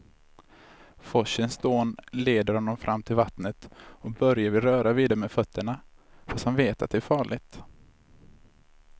Forsens dån leder honom fram till vattnet och Börje vill röra vid det med fötterna, fast han vet att det är farligt.